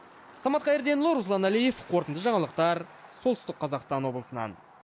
самат қайырденұлы руслан әлиев қорытынды жаңалықтар солтүстік қазақстан облысынан